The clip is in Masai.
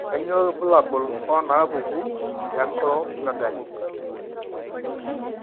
Kainyio irbulabul onaapuku eAcromegaly?